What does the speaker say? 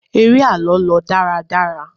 eré àlọ lọ dáradára